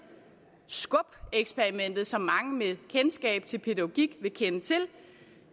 skub eksperimentet som mange med kendskab til pædagogik vil kende til og